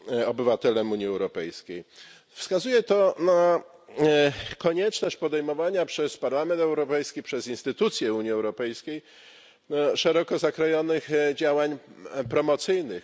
obywatelem Unii Europejskiej. Wskazuje to na konieczność podejmowania przez Parlament Europejski, przez instytucje Unii Europejskiej szeroko zakrojonych działań promocyjnych.